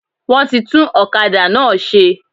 Wọ́n ti tún òkadà náà se